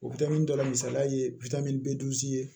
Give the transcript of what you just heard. O dɔ la misali ye ye